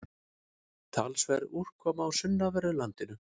Talsverð úrkoma á sunnanverðu landinu